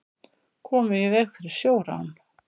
Komu í veg fyrir sjórán